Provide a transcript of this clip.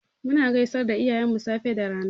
Muna gaisar da iyayenmu safe da rana.